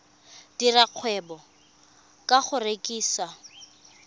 dira kgwebo ka go rekisa